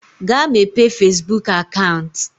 Gaa mepee fezbuk akant!